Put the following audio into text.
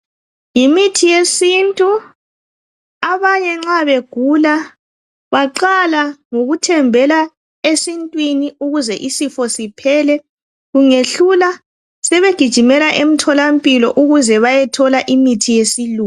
Yimithi yesintu abanye nxa begula baqala ngokuthembela esintwini ukuze isifo siphele, kungehlula sebegijimela emtholampilo ukuze bayathola imithi yesilungu.